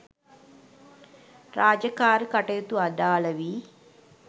රාජකාරී කටයුතු අඩාල වී